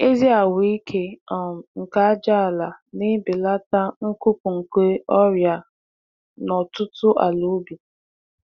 Ezi ahụike um nke ajaala na-ebelata nkwụpụ nke ọrịa n'ọtụtụ àlàubi.